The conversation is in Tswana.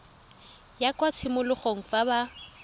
ya kwa tshimologong fa ba